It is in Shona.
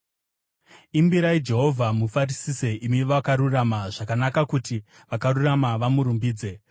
Imbirai Jehovha, mufarisise, imi vakarurama; zvakanaka kuti vakarurama vamurumbidze.